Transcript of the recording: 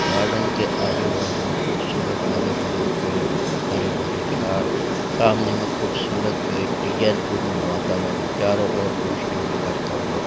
Garden के आजू-बाजु खूबसूरत हरी-भरी पेड़ हरी-भरी झाड़ सामने खूबसूरत गेट डिजाइन पूर्ण वातावरण चारो और रोशनी बीखरता हुआ।